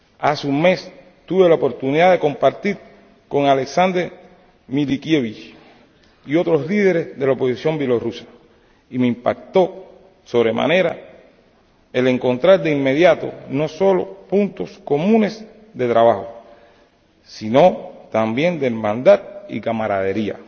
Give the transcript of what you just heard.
Hace un mes tuve la oportunidad de reunirme con Alexander Milinkievich y otros líderes de la oposición bielorrusa, y me impactó sobremanera el encontrar de inmediato no solo puntos comunes de trabajo, sino también de hermandad y camaradería.